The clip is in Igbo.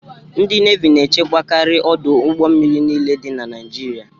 Ndị Nevi na echekwakari ọdụ ụgbọ mmiri niile dị na Naijiria.